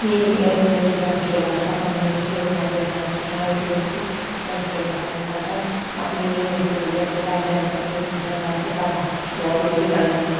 ये ये एसबीआई के ब्रांच के बाहर का सामुहिक चित्र दिखाई दे रहा है तथा एक व्यक्ति बैंक से बाहर निकलकर अपनी टू व्हीलर के पास जाने का प्रयत्न कर रहा है तथा बाहर कुछ और लोग भी खड़े हुए हैं।